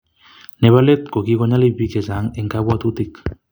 Nebo let ko kikonyalil bik chechang eng kabwatutik